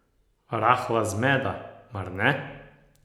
Rahla zmeda, mar ne?